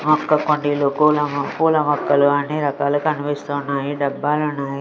మొక్క కొండీలో పూల మొ పూల మొక్కలు అన్ని రకాలు కనిపిస్తున్నాయి డబ్బాలున్నాయి.